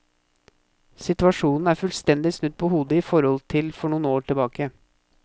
Situasjonen er fullstendig snudd på hodet i forhold til for noen år tilbake.